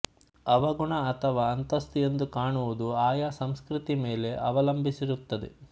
ಅವಗುಣ ಅಥವಾ ಅಂತಸ್ತು ಎಂದು ಕಾಣುವುದು ಆಯಾ ಸಂಸ್ಕೃತಿ ಮೇಲೆ ಅವಲಂಬಿಸಿರುತ್ತದೆ